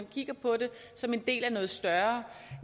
kigge på det som en del af noget større